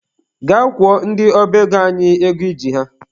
Gaa kwụọ ndị ọba ego anyị ego I ji ha!.